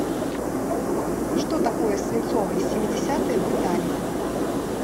что такое свинцовые семидесятые в италии